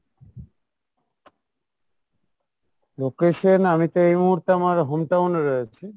location আমি তো এই মুহূর্তে আমার hometown এ রয়েছি।